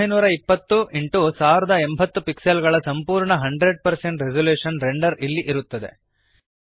1920 x 1080 pixel ಗಳ ಸಂಪೂರ್ಣ 100 resolution render ಇಲ್ಲಿ ಇರುತ್ತದೆ